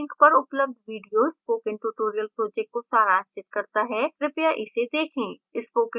निम्न link पर उपलब्ध video spoken tutorial project को सारांशित करता है कृपया इसे देखें